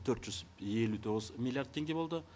төрт жүз елу тоғыз миллиард теңге болды